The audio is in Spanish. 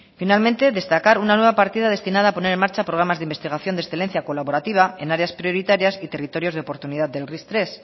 finalmente destacar una nueva partida destinada a poner en marcha programas de investigación de excelencia colaborativa en áreas prioritarias y territorios de oportunidad del ris tres